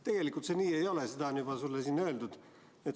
Tegelikult see nii ei ole, seda on juba sulle siin öeldud.